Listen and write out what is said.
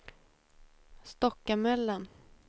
Stockamöllan